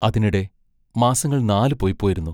അതിനിടെ മാസങ്ങൾ നാലു പൊയ്പോയിരുന്നു.